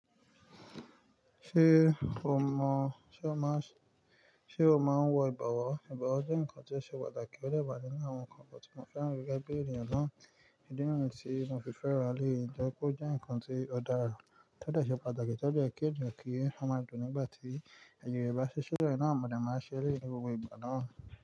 Ṣé o máa ń wọ ìbàwọ̀? Ìbàwọ̀ jẹ́ nǹkan tí ó ṣe pàtàkì. Ó dẹ́ wà nínú àwọn nǹkan kan tí mo fẹ́ ràn gẹ́gẹ́ bí ènìyàn náà. Ídí nìyẹn tí mo fi fẹ́ eléyìí, torí wípé ó jẹ́ nǹkan tí ó dára, tó dẹ̀ṣẹ, pàtàkì, tó jẹ yẹ ki ènìyàn kí a máa dùn nígbà tí àjọyọ̀ bá ṣẹ́ sọ̀rọ̀. Ẹnà mọ̀dẹ̀ máa ṣẹlé gbogbo ìgbà náà.